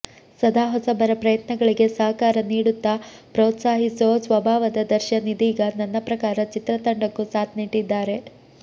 ಸದಾ ಹೊಸಬರ ಪ್ರಯತ್ನಗಳಿಗೆ ಸಹಕಾರ ನೀಡುತ್ತಾ ಪ್ರೋತ್ಸಾಹಿಸೋ ಸ್ವಭಾವದ ದರ್ಶನ್ ಇದೀಗ ನನ್ನಪ್ರಕಾರ ಚಿತ್ರತಂಡಕ್ಕೂ ಸಾಥ್ ನೀಡಿದ್ದಾರೆ